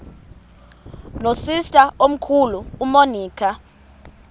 nosister omkhulu umonica